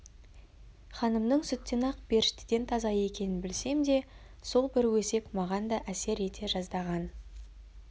ханымның сүттен ақ періштеден таза екенін білсем де сол бір өсек маған да әсер ете жаздаған